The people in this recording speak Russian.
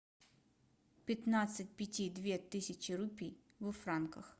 пятнадцать пяти две тысячи рупий во франках